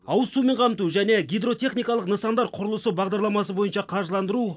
ауыз сумен қамту және гидротехникалық нысандар құрылысы бағдарламасы бойынша қаржыландыру